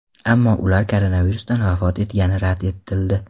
Ammo ular koronavirusdan vafot etgani rad etildi.